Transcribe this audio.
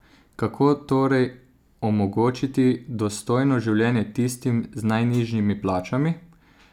Kako torej omogočiti dostojno življenje tistim z najnižjimi plačami?